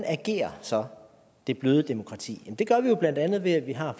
agerer så det bløde demokrati det gør det jo blandt andet ved at vi har